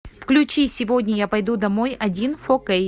включи сегодня я пойду домой один фо кей